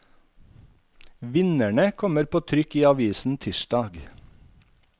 Vinnerne kommer på trykk i avisen tirsdag.